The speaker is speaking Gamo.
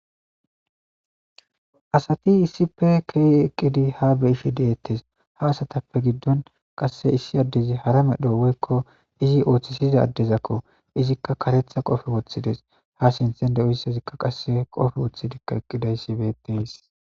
Isati issipe kei eqqidi ha be ishe deettes ha asatappe giddon qasse issi addezi hara medho woykko izi ooththisiza addezakko izikka karetha qofe woththides ha sinthen de7uyssazikka qasse qofe woththidikka eqqidayssi beetteys.